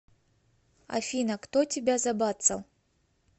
афина кто тебя забацал